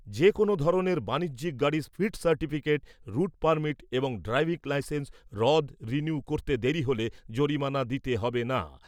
যে কোনও ধরনের বাণিজ্যিক গাড়ির ফিট সার্টিফিকেট, রুট পারমিট এবং ড্রাইভিং লাইসেন্স রদ রিনিউ করতে দেরি হলে জরিমানা দিতে হবে না।